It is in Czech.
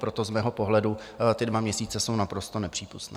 Proto z mého pohledu ty dva měsíce jsou naprosto nepřípustné.